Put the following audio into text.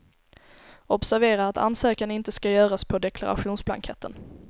Observera att ansökan inte ska göras på deklarationsblanketten.